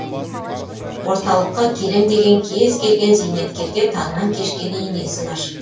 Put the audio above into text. орталыққа келем деген кез келген зейнеткерге таңнан кешке дейін есік ашық